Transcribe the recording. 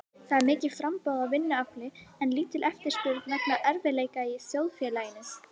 Það er mikið framboð á vinnuafli en lítil eftirspurn vegna erfiðleika í þjóðfélaginu.